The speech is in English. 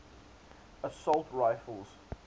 assault rifles